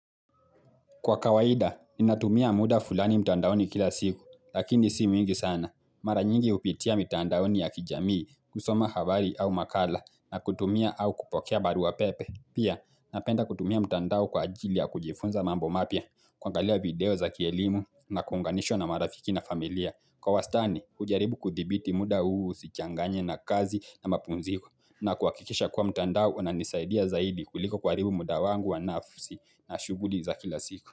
Kwa kawaida, ninatumia muda fulani mtandaoni kila siku, lakini si mwingi sana. Mara nyingi hupitia mitandaoni ya kijamii, kusoma habari au makala, na kutumia au kupokea barua pepe. Pia napenda kutumia mtandao kwa ajili ya kujifunza mambo mapya kuangalia video za kielimu na kuunganishwa na marafiki na familia. Kwa wastani ujaribu kudhibiti muda huu usichanganye na kazi na mapumziko na kuhakikisha kuwa mtandao unanisaidia zaidi kuliko kuharibu muda wangu wa nafsi na shughuli za kila siku.